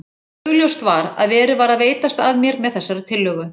Augljóst var að verið var að veitast að mér með þessari tillögu.